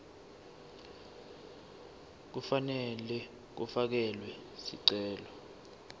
kufanele kufakelwe sicelo